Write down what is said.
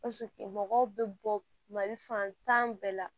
mɔgɔw bɛ bɔ mali fantan bɛɛ la